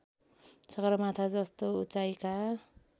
सगरमाथा जस्तो उचाइका